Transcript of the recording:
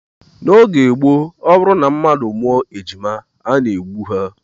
N'oge gboo, ọ bụrụ na mmadụ mụọ ejima a na-egbu ha